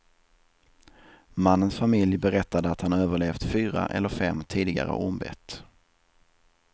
Mannens familj berättade att han överlevt fyra eller fem tidigare ormbett.